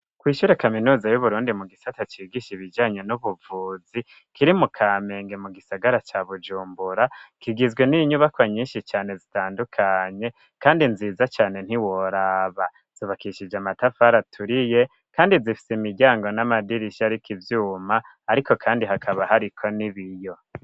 kw’ishyure kaminuza y'uburundi mu gisata cigisha ibijanye n'ubuvuzi, kiri mu kamenge mu gisagara ca Bujumbura kigizwe n'inyubako nyinshi cane zitandukanye, kandi nziza cane ntiworaba, zubakishije amatafari aturiye, kandi zifise imiryango n'amadirisha ariko ivyuma ariko kandi hakaba hariko n'ibiyo.